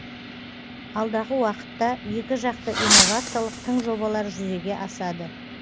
алдағы уақытта екіжақты инновациялық тың жобалар жүзеге асады